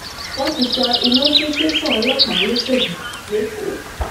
wọn ti sọ iná sí tẹsán ọlọpàá lọsọdì lẹkọọ